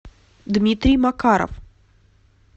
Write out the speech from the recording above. дмитрий макаров